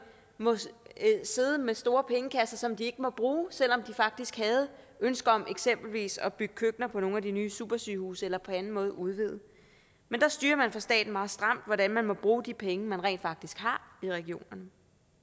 må sidde med store pengekasser som de ikke må bruge selv om de faktisk havde ønske om eksempelvis at bygge køkkener på nogle af de nye supersygehuse eller på anden måde at udvide men det styres meget stramt hvordan man må bruge de penge man rent faktisk har i regionerne